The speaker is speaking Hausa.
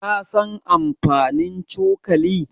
Ka san amfanin cokali?